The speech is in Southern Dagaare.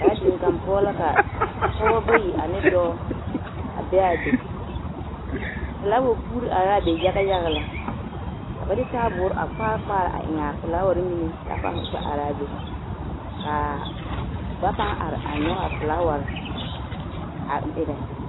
Gaadin kaŋ poɔ ka pɔgebɔ bayi ane dɔɔ a be a be, felaawa puuri are la a be yaga yaga lɛ ka ba de taaboore a kpaare kpaare a eŋ a felaaware mine k'a pãã kpɛ araa be k'a ba pãã are a nyɔge a felaaware a erɛ.